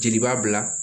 Jeli b'a bila